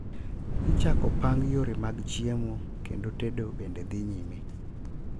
Ichako pang yore mag chiemo kendo tedo bende dhi nyime.